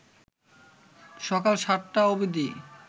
সকাল ৭টা অবধি